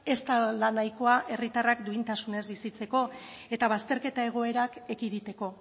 ez dela nahikoa herritarrak duintasunez bizitzeko eta bazterketa egoerak ekiditeko